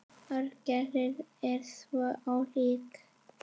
Orgelin eru svo ólík.